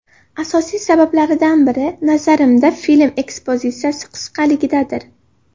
Asosiy sabablaridan biri, nazarimda, film ekspozitsiyasi qisqaligidadir.